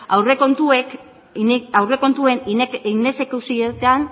aurrekontuen inexekuzioetan